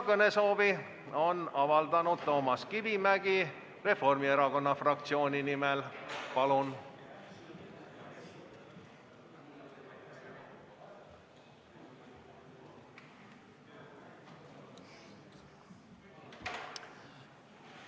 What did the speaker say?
Kõnesoovi on avaldanud Toomas Kivimägi Reformierakonna fraktsiooni nimel, palun!